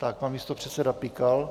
Tak pan místopředseda Pikal.